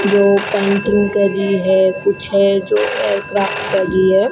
जो पेंटिंग करी है कुछ है जो एयरक्राफ्ट कर रही है।